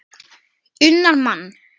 unnar mann.